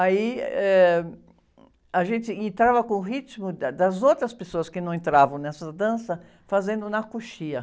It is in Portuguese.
Aí, eh, a gente entrava com o ritmo, eh, das outras pessoas que não entravam nessa dança, fazendo na coxia.